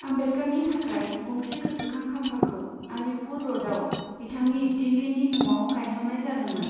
आम्बेडकारनि थाखाय गंसे गोसोखां खाम्फाखौ आलिपुर रडआव बिथांनि दिल्लीनि नआव गायसन्नाय जादोंमोन।